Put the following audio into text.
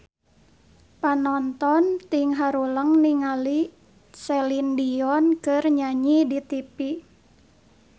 Panonton ting haruleng ningali Celine Dion keur nyanyi di tipi